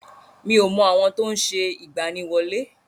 Mi ò mọ àwọn tó ń ṣe ìgbaniwọlé.